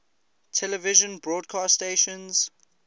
television broadcast stations